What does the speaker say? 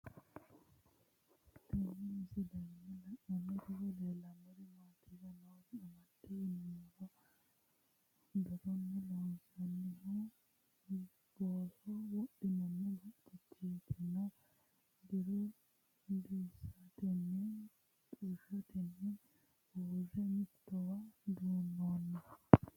Tenne misilenni la'nanniri woy leellannori maattiya noori amadde yinummoro dorunni loonsoonnihu boosso wodhinanni bacceettinna doru disiteetti xushshottenni usure mittowa duunoonni